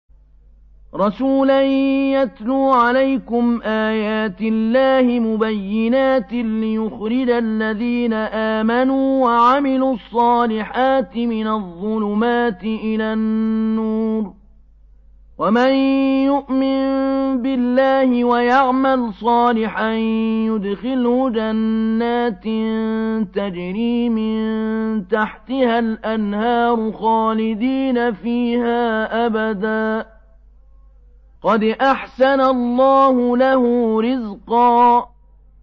رَّسُولًا يَتْلُو عَلَيْكُمْ آيَاتِ اللَّهِ مُبَيِّنَاتٍ لِّيُخْرِجَ الَّذِينَ آمَنُوا وَعَمِلُوا الصَّالِحَاتِ مِنَ الظُّلُمَاتِ إِلَى النُّورِ ۚ وَمَن يُؤْمِن بِاللَّهِ وَيَعْمَلْ صَالِحًا يُدْخِلْهُ جَنَّاتٍ تَجْرِي مِن تَحْتِهَا الْأَنْهَارُ خَالِدِينَ فِيهَا أَبَدًا ۖ قَدْ أَحْسَنَ اللَّهُ لَهُ رِزْقًا